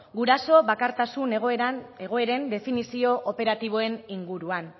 guraso bakartasun egoeren definizio operatiboen inguruan